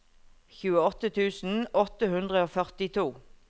tjueåtte tusen åtte hundre og førtito